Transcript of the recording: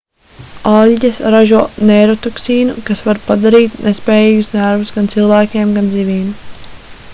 aļģes ražo neirotoksīnu kas var padarīt nespējīgus nervus gan cilvēkiem gan zivīm